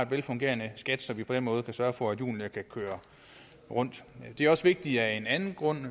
velfungerende så vi på den måde kan sørge for at hjulene kan køre rundt det er også vigtigt af en anden grund